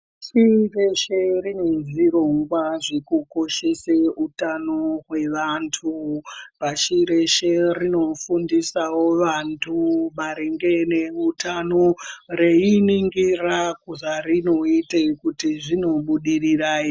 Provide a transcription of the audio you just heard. Pashi reshe rine zvirongwa zvekukoshese utano hwevantu, pashi reshe rinofundisawo vantu maringe neutano reiningira zvarinoite kuti zvinobudirira ere.